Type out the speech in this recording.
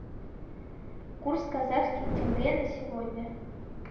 курс казахский тенге на сегодня